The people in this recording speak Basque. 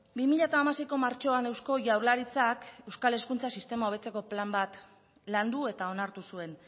bi mila hamaseiko martxoan eusko jaurlaritzak euskal hezkuntza sistema hobetzeko plan bat landu eta onartu zuen